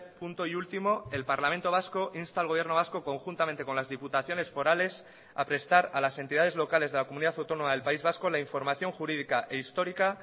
punto y último el parlamento vasco insta al gobierno vasco conjuntamente con las diputaciones forales a prestar a las entidades locales de la comunidad autónoma del país vasco la información jurídica e histórica